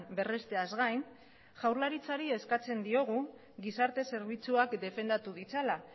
berrezteaz gain jaurlaritzari eskatzen diogu gizarte zerbitzuak defendatu ditzala